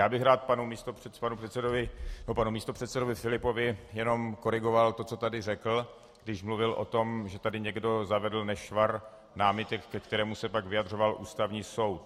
Já bych rád panu místopředsedovi Filipovi jenom korigoval to, co tady řekl, když mluvil o tom, že tady někdo zavedl nešvar námitek, ke kterému se pak vyjadřoval Ústavní soud.